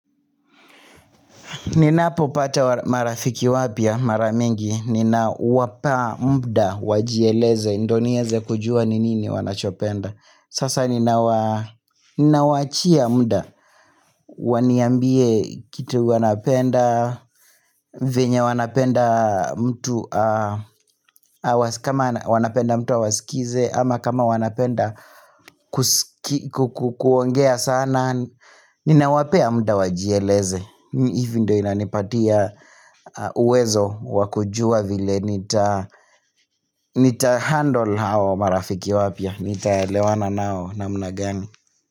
Ninapo pata marafiki wapya, maramingi, nina wapa muda wajieleze, ndio nieze kujua nini wanachopenda Sasa nina wachia muda, waniambie kitu wanapenda, venye wanapenda mtu, kama wanapenda mtu wa awaskize Ama kama wanapenda kuongea sana, ninawapea muda wajieleze hivyo ndo inanipatia uwezo wakujua vile nita handle hao marafiki wapya nitaelewana nao namna gani.